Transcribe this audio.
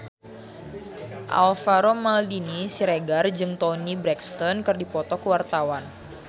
Alvaro Maldini Siregar jeung Toni Brexton keur dipoto ku wartawan